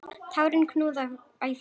Tárin knúðu æ fastar á.